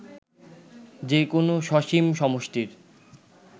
যে কোন সসীম সমষ্টির